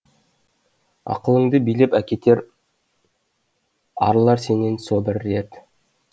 ақылыңды билеп әкетер арылар сенен сол бір дерт